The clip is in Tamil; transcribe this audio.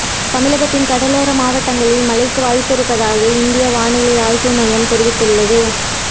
தமிழகத்தின் கடலோர மாவட்டங்களில் மழைக்கு வாய்ப்பிருப்பதாக இந்திய வானிலை ஆய்வு மையம் தெரிவித்துள்ளது